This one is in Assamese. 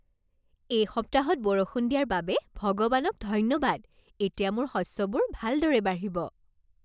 এই সপ্তাহত বৰষুণ দিয়াৰ বাবে ভগৱানক ধন্যবাদ। এতিয়া মোৰ শস্যবোৰ ভালদৰে বাঢ়িব।